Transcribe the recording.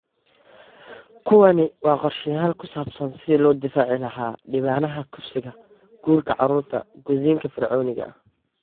Kuwani waa qorshayaal ku saabsan sidii loo difaaci lahaa dhibbanaha kufsiga, guurka carruurta, gudniinka Fircooniga ah.